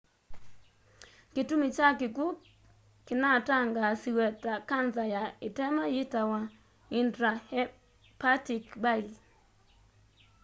kitumi kya kikwu kinatangaasiwe ta kanza ya itema yitawa intrahepatic bile